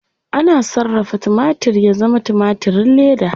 Ana sarrafa timatir ya zama timatirin leda.